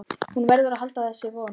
Hún verður að halda í þessa von.